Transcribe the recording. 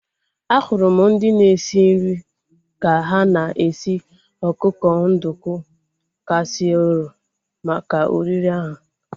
Ahụrụ m ndị na-esi nri ka ha na-esi ọkụkọ nduku kasiirọl maka oriri ahu